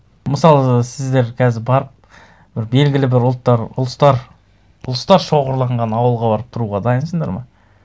мысалы сіздер қазір барып бір белгілі бір ұлттар ұлыстар шоғырланған ауылға барып тұруға дайынсыңдар ма